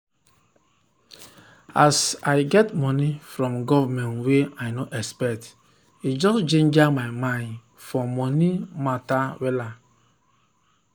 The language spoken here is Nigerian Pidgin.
as i get money from government wey i no expect e just ginger my mind for money matt wella